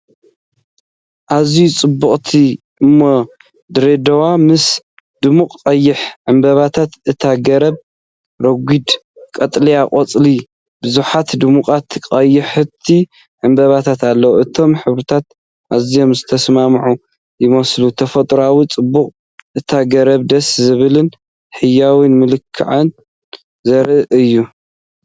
ኣዝያ ጽብቕቲ ኦም ድሬዳዋ ምስ ድሙቕ ቀይሕ ዕምባባታት። እታ ገረብ ረጒድ ቀጠልያ ቆጽልን ብዙሓት ድሙቓት ቀያሕቲ ዕምባባታትን ኣለዋ። እቶም ሕብርታት ኣዝዮም ዝተሰማምዑ ይመስሉ። ተፈጥሮኣዊ ጽባቐ እታ ገረብን ደስ ዘብልን ህያውን መልክዓን ዘርኢ እዩ።